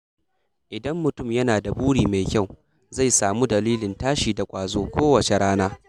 Idan mutum yana da buri mai kyau, zai samu dalilin tashi da ƙwazo kowace rana.